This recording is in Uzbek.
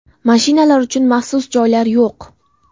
Mashinalar uchun maxsus joylar yo‘q.